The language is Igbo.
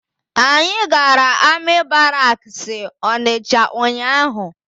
Anyị gara amị baraksi Ọnịcha ụnyaahụ.